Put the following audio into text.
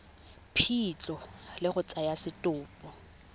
phitlho le go tsaya setopo